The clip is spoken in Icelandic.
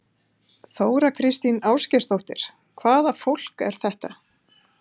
Þóra Kristín Ásgeirsdóttir: Hvaða fólk er þetta?